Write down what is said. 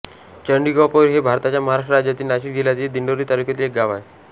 चंडिकापूर हे भारताच्या महाराष्ट्र राज्यातील नाशिक जिल्ह्यातील दिंडोरी तालुक्यातील एक गाव आहे